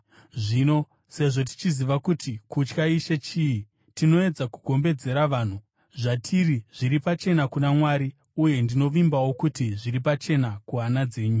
Zvino, sezvo tichiziva kuti kutya Ishe chii, tinoedza kugombedzera vanhu. Zvatiri zviri pachena kuna Mwari, uye ndinovimbawo kuti zviri pachena kuhana dzenyu.